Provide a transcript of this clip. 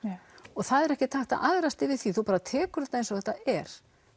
og það er ekkert hægt að æðrast yfir því þú bara tekur þetta eins og þetta er